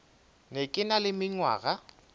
be ke na le mengwaga